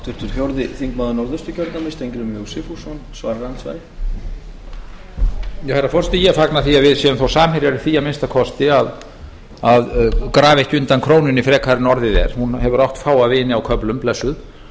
herra forseti ég fagna því að við séum þó samherjar í því að minnsta kosti að grafa ekki undan krónunni frekar en orðið er hún hefur átt fáa vini á köflum blessuð